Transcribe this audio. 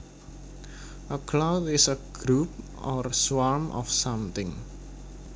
A cloud is a group or swarm of something